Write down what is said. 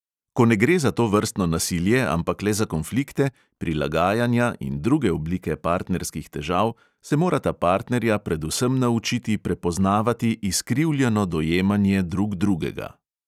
Ko ne gre za tovrstno nasilje, ampak le za konflikte, prilagajanja in druge oblike partnerskih težav, se morata partnerja predvsem naučiti prepoznavati izkrivljeno dojemanje drug drugega.